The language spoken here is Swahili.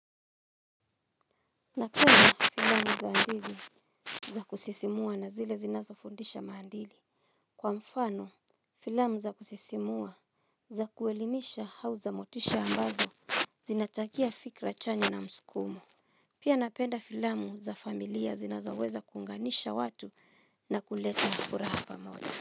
Napenda filamu za hadithi za kusisimua na zile zinazofundisha maadili. Kwa mfano filamu za kusisimua za kuelimisha au za motisha ambazo zinachangia fikra chanya na msukumu. Pia napenda filamu za familia zinazoweza kunganisha watu na kuleta furaha pamoja.